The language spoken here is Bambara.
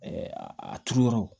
a turu yɔrɔ